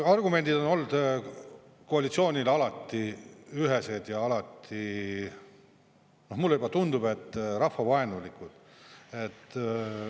Argumendid on olnud koalitsioonil alati ühesed ja alati, mulle tundub, rahvavaenulikud.